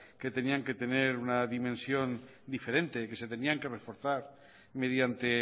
que tenían que tener una dimensión diferente que se tenían que reforzar mediante